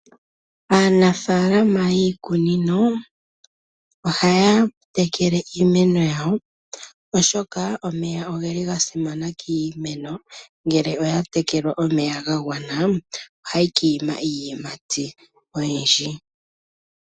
Aanafalama yiikunino ohaya tekele iimeno yawo oshoka omeya ogeli ga simana kiimeno ngele oya tekelwa omeya ga gwana ohayi ki ima iiyimati oyindji.